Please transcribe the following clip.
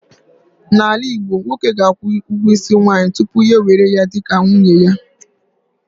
N'ala Igbo, nwoke ga-akwụ ugwo isi nwaanyị tupu ya ewere ya dị ka nwunye ya